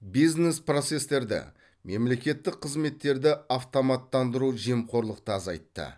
бизнес процестерді мемлекеттік қызметтерді автоматтандыру жемқорлықты азайтты